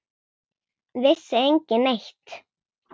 Vissi enginn neitt?